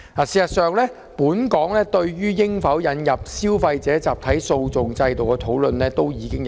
事實上，本港對於應否引入消費者集體訴訟機制已經討論多年。